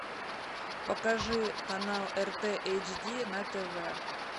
покажи канал рт эйч ди на тв